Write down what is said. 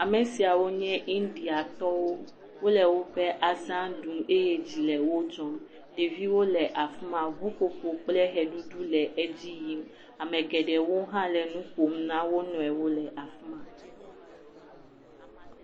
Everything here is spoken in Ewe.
Ame siawo nye indiatɔwo. Wole woƒe aza ɖum eye edzi le wodzɔm. Ɖeviwo le afima, ŋuƒoƒo kple ʋeɖuɖu le edzi yim. Ame geɖe hã le nuƒom na wonɔewo la fima.